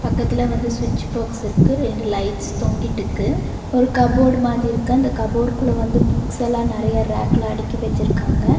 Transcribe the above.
பக்கத்துல வந்து ஸ்விட்ச் பாக்ஸ் இருக்கு ரெண்டு லைட்ஸ் தொங்கிட்டுக்கு ஒரு கபோர்டு மாதி இருக்கு அந்த கபோர்டுக்குள்ள வந்து புக்ஸ்ஸல்லா நறைய ரேக்ல அடுக்கி வெச்சிருக்காங்க.